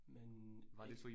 Men ja